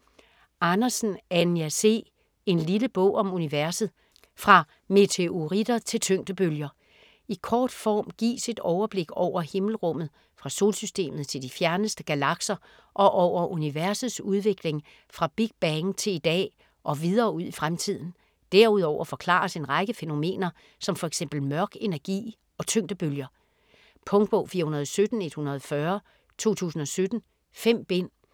Andersen, Anja C.: En lille bog om universet: fra meteoritter til tyngdebølger I kort form gives et overblik over himmelrummet fra Solsystemet til de fjerneste galakser og over universets udvikling fra Big Bang til i dag og videre ud i fremtiden. Derudover forklares en række fænomener som f.eks. mørk energi og tyngdebølger. Punktbog 417140 2017. 5 bind.